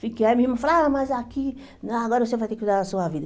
Fiquei, aí minha irmã falava, ah mas aqui, ah agora você vai ter que cuidar da sua vida.